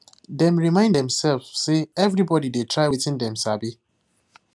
dem remind demself say everybody dey try wetin dem sabi